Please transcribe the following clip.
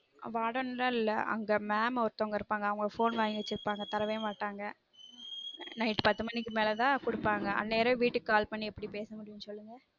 warden லான் இல்ல அங்க mam ஒருத்தவங்க phone வாங்கி வச்சுருப்பாங்க தரவே மாட்டாங்க night பத்து மனிக்கு மேல தான் குடுப்பாங்க அந்நேரம் வீட்டுக்கு call பண்ணி எப்டிபேச முடியும் சொல்லுங்க